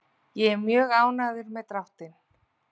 Ég er mjög ánægður með dráttinn.